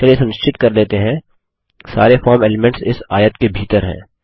चलिए सुनिश्चित कर लेते हैं सारे फॉर्म एलीमेंट्स इस आयत के भीतर हैं